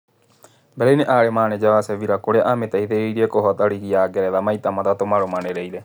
Mbere-inĩ arĩ menenja wa Chevila kũrĩa amĩteithirie kũhoota Rigi ya Ngeretha maita matatũ marũmanĩrĩire.